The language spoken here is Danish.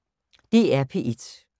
DR P1